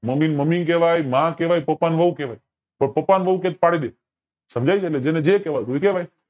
mummy ને મમ્મી કેવાયમાં કેવાય કે પાપા ની હોવ કેવાય કોક પાપા ની હોવ કે તો પાડી દે સમજાય છે એટલે જેને જે કેવાતું હોય એ કેવાય